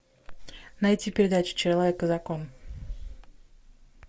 найти передачу человек и закон